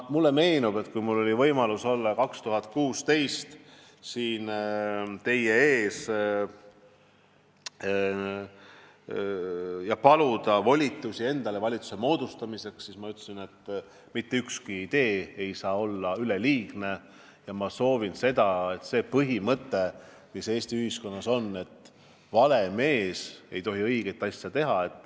Mulle meenub, et kui mul oli võimalus olla 2016. aastal siin teie ees ja paluda endale volitusi valitsuse moodustamiseks, siis ma ütlesin, et mitte ükski idee ei saa olla üleliigne ja ma soovin vastu astuda põhimõttele, mis Eesti ühiskonnas on, et vale mees ei tohi õiget asja teha.